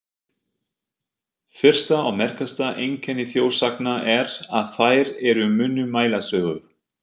Fyrsta og merkasta einkenni þjóðsagna er, að þær eru munnmælasögur.